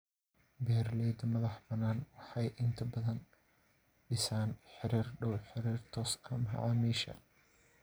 Beeralayda madaxbannaan waxay inta badan dhisaan xiriir dhow, xiriir toos ah macaamiisha.